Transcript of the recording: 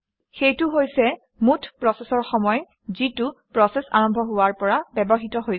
সেইটো হৈছে মুঠ প্ৰচেচৰ সময় যিটো প্ৰচেচ আৰম্ভ হোৱৰ পৰা ব্যৱহৃত হৈছে